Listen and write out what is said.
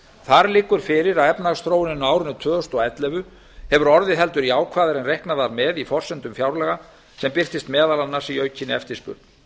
þar liggur fyrir að efnahagsþróunin á árinu tvö þúsund og ellefu hefur orðið heldur jákvæðari en reiknað var með í forsendum fjárlaga sem birtist meðal annars í aukinni eftirspurn